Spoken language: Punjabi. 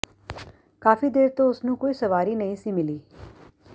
ਕਾਫ਼ੀ ਦੇਰ ਤੋਂ ਉਸ ਨੂੰ ਕੋਈ ਸਵਾਰੀ ਨਹੀਂ ਸੀ ਮਿਲੀ